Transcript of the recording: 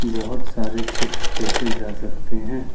बहोत सारे चिप्स देखे जा सकते हैं।